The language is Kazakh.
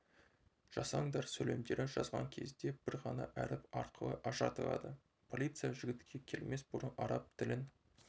жасаңдар сөйлемдері жазған кезде бір ғана әріп арқылы ажыратылады полиция жігітке келмес бұрын араб тілін